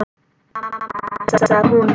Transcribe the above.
Mamma sagði hún.